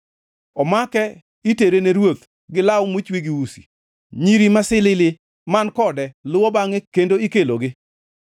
Omake itere ne ruoth gi law mochwe gi usi; nyiri masilili man kode luwo bangʼe kendo ikelonegi.